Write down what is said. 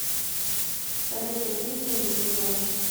салют какие деньги в перу